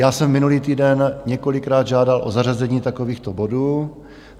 Já jsem minulý týden několikrát žádal o zařazení takovýchto bodů.